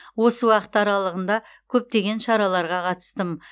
осы уақыт аралығында көптеген шараларға қатыстым